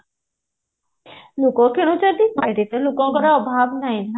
ଲୋକ କିଣୁଛନ୍ତି market ରେ ଲୋକଙ୍କର ଅଭାବ ନାଇଁ ନା